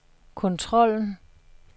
kontrollen